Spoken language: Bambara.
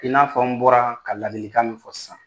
I n'a fɔ n bɔra ka laadilikan min fɔ sisan.